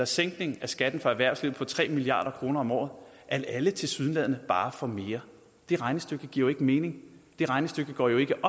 sænkning af skatten for erhvervslivet på tre milliard kroner om året at alle tilsyneladende bare får mere det regnestykke giver jo ikke mening det regnestykke går jo ikke